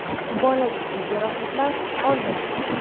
Bola jiddiy jarohatlar olmagan.